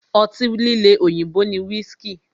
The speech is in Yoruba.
Ọtí líle òyìnbó ni whiski.